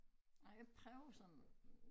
Ej jeg prøver sådan